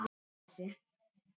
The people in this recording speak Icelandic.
Þannig var afi.